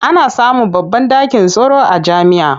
Ana samun babban ɗakin taro a jami'a.